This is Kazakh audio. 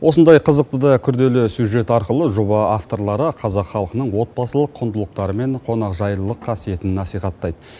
осындай қызықты да күрделі сюжет арқылы жоба авторлары қазақ халқының отбасылық құндылықтары мен қонақжайлылық қасиетін насихаттайды